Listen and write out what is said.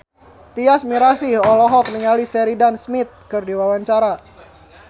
Tyas Mirasih olohok ningali Sheridan Smith keur diwawancara